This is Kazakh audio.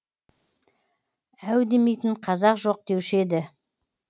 әу демейтін қазақ жоқ деуші еді